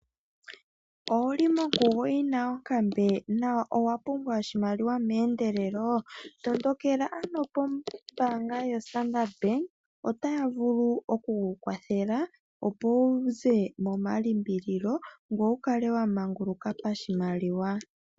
Owuli monkugo yina onkambe na owapumbwa oshimaliwa meendelelo tondokela ano kombaanga yoStandard otaya vulu okukukwathela opo wuze momalimbililo ngoye wukale wamanguluka poshimaliwa.